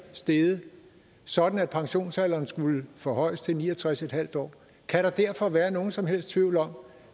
steget sådan at pensionsalderen skulle forhøjes til ni og tres en halv år kan der derfor være nogen som helst tvivl om